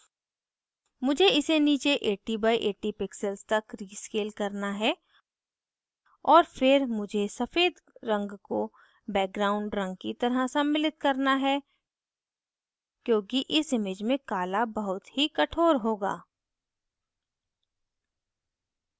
मुझे इसे नीचे 80 by 80 pixels तक rescale करना है और फिर मुझे सफ़ेद रंग को background रंग की तरह सम्मिलित करना है क्योंकि इस image में काला बहुत ही कठोर होगा